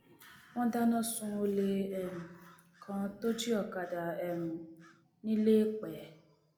wọn dáná sun olè um kan tó jí ọkadà um ńiléèpẹ